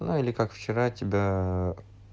ну или как вчера тебя